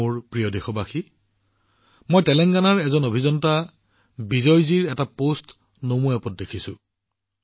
মোৰ মৰমৰ দেশবাসীসকল মই নমোএপত তেলেংগানাৰ অভিযন্তা বিজয়জীৰ এটা পোষ্ট দেখিছিলো